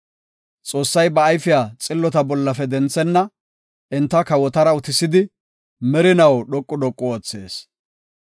Xoossay ba ayfiya xillota bollafe denthenna; enta kawotara utisidi, merinaw dhoqu dhoqu oothees.